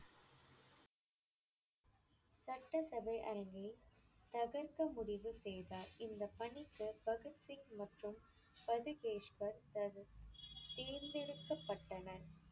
சட்டசபை அரங்கைத் தகர்க்க முடிவு செய்தார். இந்தப் பணிக்குப் பகத் சிங் மற்றும் பதுகேஸ்வர் தத் தேர்ந்தெடுக்கப்பட்டனர்.